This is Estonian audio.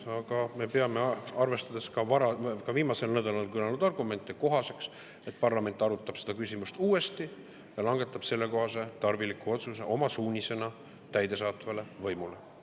Aga me peame, arvestades ka viimasel nädalal kõlanud argumente, kohaseks, et parlament arutab seda küsimust uuesti ja langetab sellekohase tarviliku otsuse oma suunisena täidesaatvale võimule.